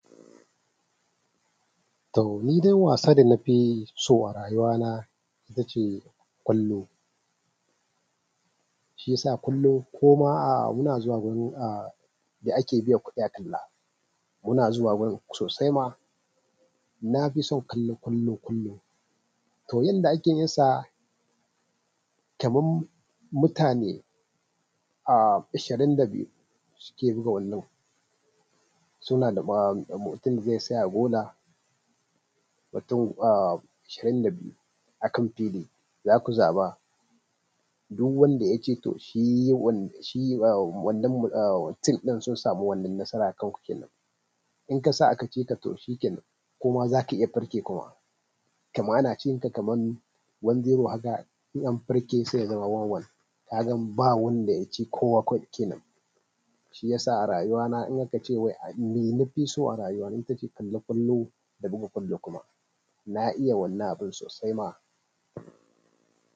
To, ni dai wasa da na fi so a rayuwa na ita ce ƙwallo. Shiyasa kullum koma ahhh ina zuwa gurin ahh da ake biyan kuɗi a kalla. Muna zuwa wurin sosai ma. Na fi son kallon ƙwallo, ƙwallo. To yanda ake yin sa, kaman mutane a ashirin da biyu suke buga wannan. Suna da mutum zai saya a gola, mutum a ashirin da biyu a kan fili. Za ku zaɓa duk wanda ya ce to shi wanan, shi wannan tim ɗin sun samu wannan nasara a kanku kenan. In kasa a ka cika to shi kenan kuma zaka iya farke kuma. Kaman ana cinka kaman wan ziro haka, in an farke sai ya zama wan wan. Kagan ba wanda yaci kowa kawai kenan. Shi yasa a rayuwa na in aka ce wai ni na fi so a rayuwa na ita ce kallon ƙwallo, da buga ƙwallo kuma. Na iya wannan abin sosai ma.